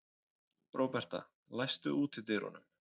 Róberta, læstu útidyrunum.